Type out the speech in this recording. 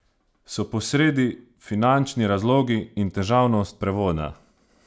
So posredi finančni razlogi in težavnost prevoda?